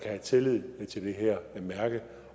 have tillid til det her mærke